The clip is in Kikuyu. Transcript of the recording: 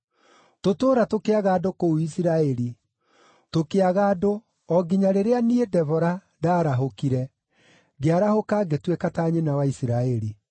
Tũtũũra tũkĩaga andũ kũu Isiraeli, tũkĩaga andũ, o nginya rĩrĩa niĩ, Debora, ndaarahũkire, ngĩarahũka ngĩtuĩka ta nyina wa Isiraeli.